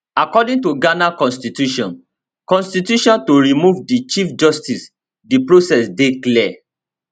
according to ghana constitution constitution to remove di chief justice di process dey clear